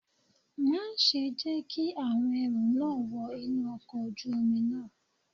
Má ṣe jẹ́ kí àwọn ẹrú náà wọ inú ọkọ̀ ojú omi náà.